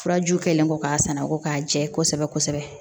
Furajuw kɛlen kɔ k'a sanna ko k'a jɛ kosɛbɛ kosɛbɛ